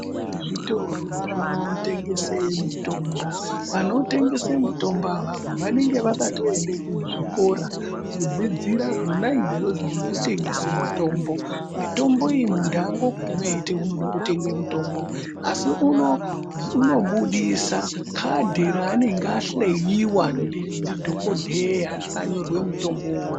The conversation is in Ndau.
Zvitoro zvinotengese mitombo ,vanotengese mitombo avavo vanenge vakatoenda kuzvikora kudzidzira zvona izvozvo zvekutengese mitombo ,mitombo iyi munhu andogumi eiti unode kutenge mutombo asi unobudisa kadhi reanenge anhleyiwa ndidhokodheya rakanyorwe mutombowo uwowo.